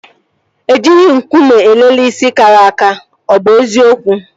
E jighị nkume elele isi kara aka. Ọ bụ eziokwu?